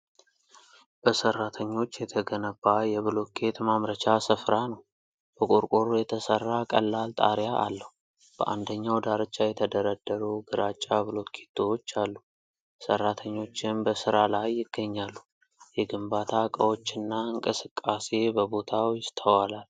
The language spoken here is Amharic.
በሠራተኞች የተገነባ የብሎኬት ማምረቻ ስፍራ ነው። በቆርቆሮ የተሠራ ቀላል ጣሪያ አለው። በአንደኛው ዳርቻ የተደረደሩ ግራጫ ብሎኬቶች አሉ። ሠራተኞችም በስራ ላይ ይገኛሉ። የግንባታ ዕቃዎችና እንቅስቃሴ በቦታው ይስተዋላል።